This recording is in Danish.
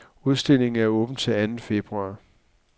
Udstillingen er åben til anden februar.